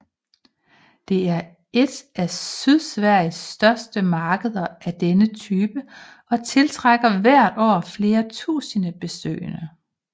Det er et af Sydsveriges største markeder af denne type og tiltrækker hvert år flere tusinde besøgende